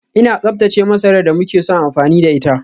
Ina tsaftace masarar da muke son amfani da ita